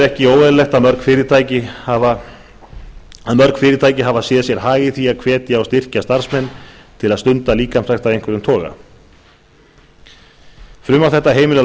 við með hliðsjón af þessu er ekki óeðlilegt að mörg fyrirtæki hafa séð sér hag í því að hvetja og styrkja starfsmenn sína til að stunda líkamsrækt af einhverjum toga frumvarp þetta heimilar